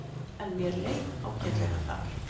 En mér leið ágætlega þar.